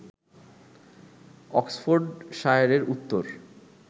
অক্সফোর্ডশায়ারের উত্তর